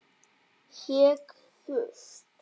Hékk þurrt.